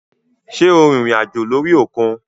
Sé o rìnrìn àjò lórí òkun?